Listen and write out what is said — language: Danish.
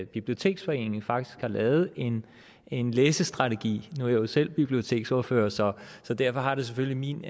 biblioteksforening faktisk har lavet en en læsestrategi nu er jeg jo selv biblioteksordfører så så derfor har det selvfølgelig min